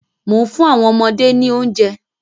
Mò ń fún àwọn ọmọdé ni oúnjẹ.